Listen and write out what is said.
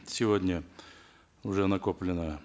сегодня уже накоплено